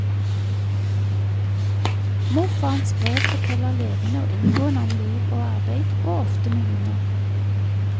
Morfarens brev forteller levende og inngående om liv og arbeid, og ofte med humor.